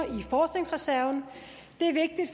i forskningsreserven